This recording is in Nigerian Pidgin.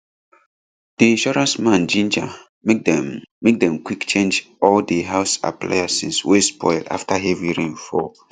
di insurance man ginger make dem make dem quick change all di house appliances wey spoil after heavy rain fall